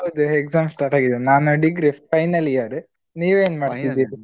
ಹೌದು exam start ಆಗಿದೆ ನಾನು degree final year ನೀವ್ ಏನ್ಮಾಡ್ತಿದೀರಿ?